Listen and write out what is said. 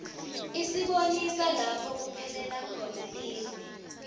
isibonisa lapho kuphelela khona live